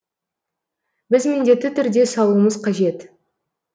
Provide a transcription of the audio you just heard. біз міндетті түрде салуымыз қажет